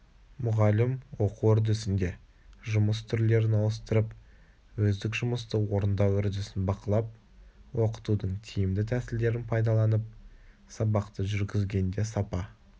мұғалім оқу үрдісінде жұмыс түрлерін ауыстырып өздік жұмысты орындау үрдісін бақылап оқытудың тиімді тәсілдерін пайдаланып сабақты жүргізгенде сапа